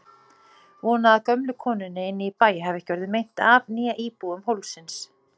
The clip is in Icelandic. Vona að gömlu konunni inni í bæ hafi ekki orðið meint af, né íbúum hólsins.